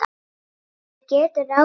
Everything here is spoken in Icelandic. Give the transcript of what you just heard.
Maður getur ráðið því.